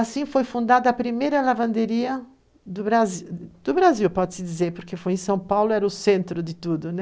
Assim foi fundada a primeira lavanderia do Brasil, pode-se dizer, porque foi em São Paulo era centro de tudo.